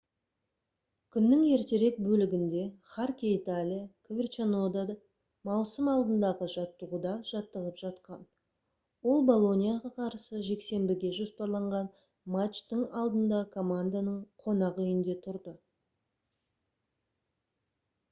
күннің ертерек бөлігінде харке италия коверчанода маусым алдындағы жаттығуда жаттығып жатқан ол болоньяға қарсы жексенбіге жоспарланған матчтың алдында команданың қонақ үйінде тұрды